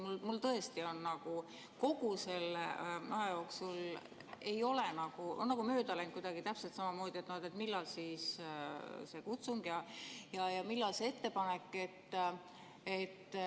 Minust on tõesti kogu selle aja täpselt samamoodi nagu mööda läinud, et millal on siis see kutsung ja millal see ettepanek.